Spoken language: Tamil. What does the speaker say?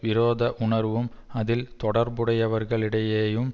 விரோத உணர்வும் அதில் தொடர்புடையவர்களிடையேயும்